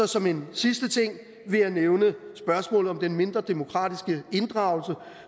som en sidste ting vil jeg nævne spørgsmålet om den mindre demokratiske inddragelse